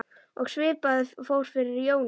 Og svipað fór fyrir Jóni.